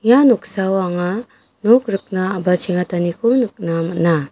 ia noksao anga nok rikna a·bachengataniko nikna man·a.